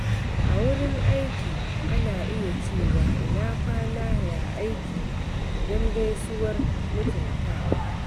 A wurin aiki, ana iya cewa "Ina kwana, ya aiki?" don gaisuwar mutuntawa.